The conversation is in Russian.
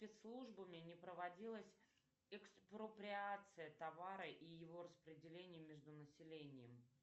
спецслужбами не проводилась экспроприация товара и его распределение между населением